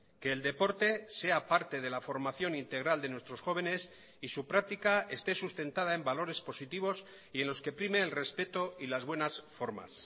que el deporte sea parte de la formación integral de nuestros jóvenes y su práctica esté sustentada en valores positivos y en los que prime el respeto y las buenas formas